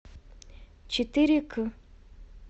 четыре к